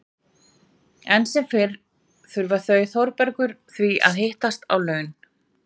Enn sem fyrr þurfa þau Þórbergur því að hittast á laun.